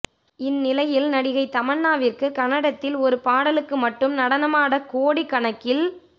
இந்நிலையில் நடிகை தமன்னாவிற்கு கன்னடத்தில் ஒரு பாடலுக்கு மட்டும் நடனமாட கோடி கணக்கில்